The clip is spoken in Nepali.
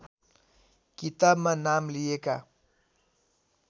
किताबमा नाम लिएका